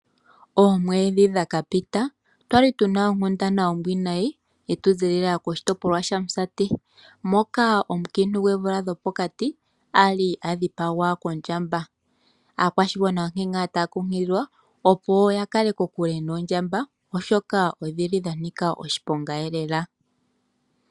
Oomwedhi dhakapita otwali tuna onkundana ombwiinayi ya zilila koshitopolwa shaMusati, moka omunkiintu gwoomvula dhopokati ali adhipagwa kondjamba. Aakwashigwana onkee ngaa taakunkililwa yiikaleke kokule noondjamba oshoka, odhili dhanika oshiponga lela.